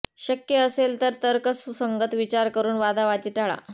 शक्य असेल तर तर्कसुसंगत विचार करून वादावादी टाळा